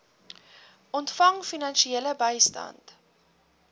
ontvang finansiële bystand